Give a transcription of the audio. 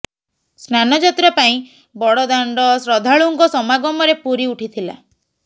ସ୍ନାନ ଯାତ୍ରା ପାଇଁ ବଡ଼ଦାଣ୍ଡ ଶ୍ରଦ୍ଧାଳୁଙ୍କ ସମାଗମରେ ପୂରୀ ଉଠିଥିଲା